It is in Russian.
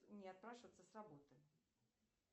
мне отпрашиваться с работы